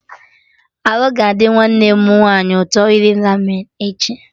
Arụ ga adị nwanne m nwaanyị ụtọ iri Ramen echi